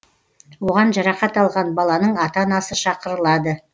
оған жарақат алған баланың ата анасы шақырылады